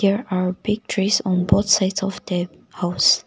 there are big trees on both sides of tent house.